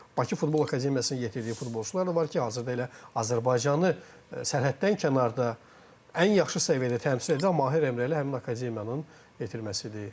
Bakı Futbol Akademiyasının yetirdiyi futbolçular da var ki, hazırda elə Azərbaycanı sərhəddən kənarda ən yaxşı səviyyədə təmsil edən Mahir Emrəli həmin akademiyanın yetirməsidir.